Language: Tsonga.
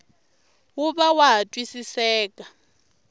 wu va wa ha twisiseka